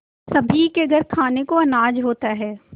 सभी के घर खाने को अनाज होता है